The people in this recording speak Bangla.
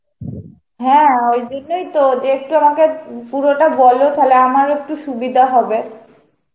হ্যাঁ ওই জন্যই তো দিয়ে একটু আমাকে উম পুরোটা বলো তালে আমারও একটু সুবিধা হবে.